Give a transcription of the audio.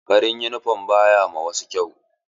Farin yunifom ba ya ma wasu kyau.